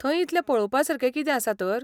थंय इतलें पळवपासारकें कितें आसा तर?